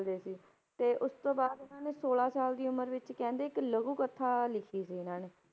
ਦੇ ਸੀ, ਤੇ ਉਸ ਤੋਂ ਬਾਅਦ ਇਹਨਾਂ ਨੇ ਛੋਲਾਂ ਸਾਲ ਦੀ ਉਮਰ ਵਿੱਚ ਕਹਿੰਦੇ ਇੱਕ ਲਘੂ ਕਥਾ ਲਿਖੀ ਸੀ ਇਹਨਾਂ ਨੇ,